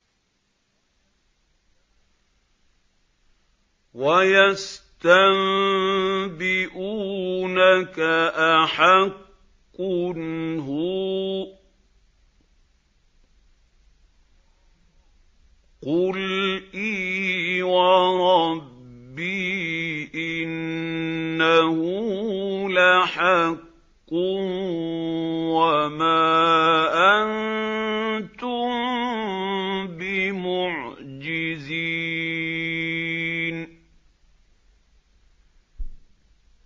۞ وَيَسْتَنبِئُونَكَ أَحَقٌّ هُوَ ۖ قُلْ إِي وَرَبِّي إِنَّهُ لَحَقٌّ ۖ وَمَا أَنتُم بِمُعْجِزِينَ